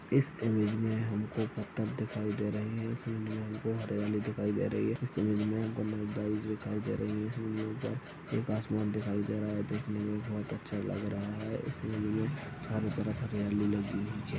इस ईमेज में हमको पत्थर दिखाई दे रहे है इस ईमेज में हमको हरियाली दिखाई दे रही है इस ईमेज में हमको दिखाई दे रही है हमें उधर एक आसमान दिखाई दे रहा है देखने में बहोत अच्छा लग रहा है इस ईमेज में चारों तरफ हरियाली लगी हुई है।